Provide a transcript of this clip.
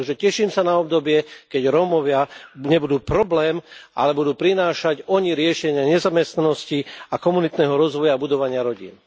Takže teším sa na obdobie, keď Rómovia nebudú problém, ale oni budú prinášať riešenia nezamestnanosti a komunitného rozvoja budovania rodín.